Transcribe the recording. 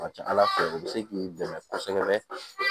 A ka ca ala fɛ u bɛ se k'i dɛmɛ kosɛbɛ